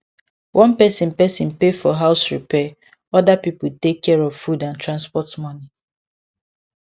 one person person pay for house repair other people take care of food and transport money